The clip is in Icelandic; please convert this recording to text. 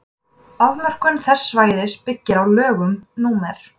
afmörkun þess svæðis byggir á lögum númer